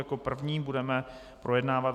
Jako první budeme projednávat